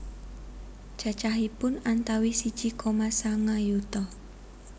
Cacahipun antawis siji koma sanga yuta